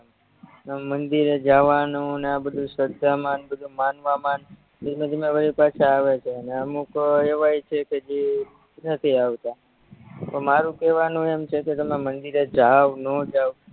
મંદિરે જાવાનુંને આ બધુય શ્રધામાંન બધુય માનવામાંને ધીમે ધીમે બધાય પાછા આવે છે ને અમુક એવાય છે કે જે નથી આવતા પણ મારું કેવાનું એમ છે કે તમે મંદિરે જાવ નો જાવ